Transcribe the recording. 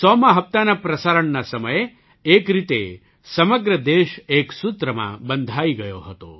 ૧૦૦મા હપ્તાના પ્રસારણના સમયે એક રીતે સમગ્ર દેશ એક સૂત્રમાં બંધાઈ ગયો હતો